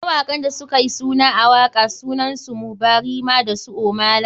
Mawaƙan da sukayi suna a waka suna su, Mohbad, Rema dasu ohmay lay.